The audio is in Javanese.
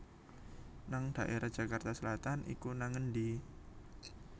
nang daerah Jakarta Selatan iku nang endi?